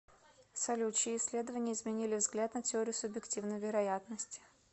салют чьи исследования изменили взгляд на теорию субъективной вероятности